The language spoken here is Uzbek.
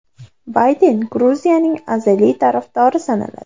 Bayden Gruziyaning azaliy tarafdori sanaladi.